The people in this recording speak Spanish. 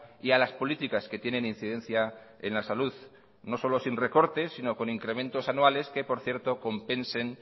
y a las políticas que tienen incidencia en la salud no solo sin recortes sino con incrementos anuales que por cierto compensen